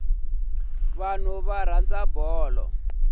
vanhu va rhandza bolo